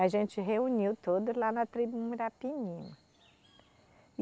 A gente reuniu todos lá na tribo Muirapinima.